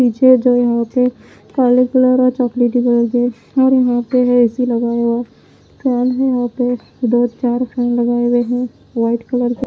नीचे जो यहां पे काले कलर और चॉकलेट और यहां पे है ए_सी लगाया हुआ फैन है यहां पे दो चार फैन लगाए हुए हैं वाइट कलर के--